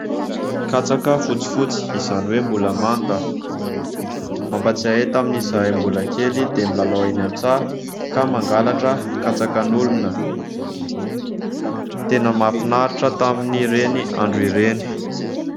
Katsaka fotsifotsy, izany hoe mbola manta. Mampahatsiahy ahy tamin'izahay mbola kely dia milalao eny an-tsaha ka mangalatra katsakan'olona. Tena mahafinaritra tamin'ireny andro ireny.